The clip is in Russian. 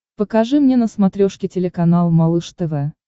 покажи мне на смотрешке телеканал малыш тв